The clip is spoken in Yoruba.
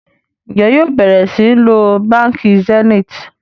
Njé yóò bẹrẹ sìn ló bánkì Zenith?